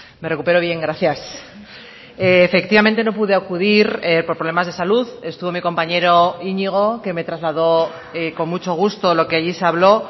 me recupero bien gracias efectivamente no pude acudir por problemas de salud estuvo mi compañero iñigo que me trasladó con mucho gusto lo que allí se habló